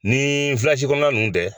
Ni vilasi kɔnɔna ninnu tɛ